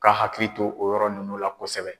ka hakili to o yɔrɔ nunnu la kosɛbɛ.